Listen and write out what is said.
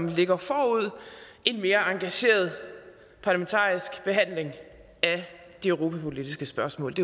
ligger forud en mere engageret parlamentarisk behandling af de europapolitiske spørgsmål